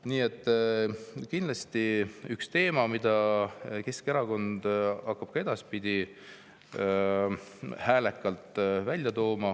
Nii et kindlasti on see üks teema, mida Keskerakond hakkab ka edaspidi häälekalt välja tooma.